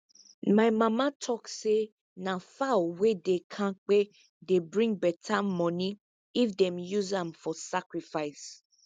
my mama tok say na fowl wey dey kampe dey bring beta money if them use am for sacrifice